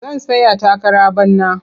Zan tsaya takara bana.